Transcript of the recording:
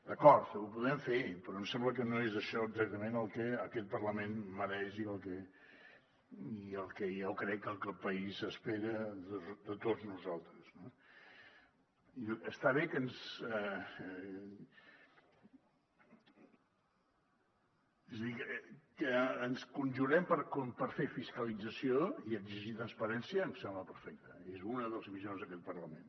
d’acord ho podem fer però em sembla que no és això exactament el que aquest parlament mereix i el que jo crec que el país espera de tots nosaltres no està bé que ens conjurem per fer fiscalització i exigir transparència em sembla perfecte és una de les missions d’aquest parlament